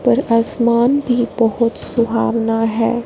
पर आसमान भी बहोत सुहावना है।